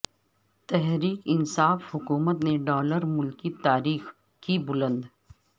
تحریک انصاف حکومت نے ڈالر ملکی تاریخ کی بلند